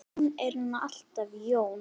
Jón er nú alltaf Jón.